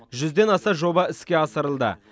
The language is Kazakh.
жүзден аса жоба іске асырылды